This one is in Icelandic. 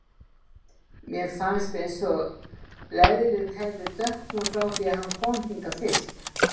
Mér fannst eins og leðrið hefði dökknað frá því hann kom hingað fyrst.